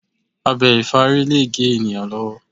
Abẹ ìfárí lè gé ènìyàn lọ́wọ́.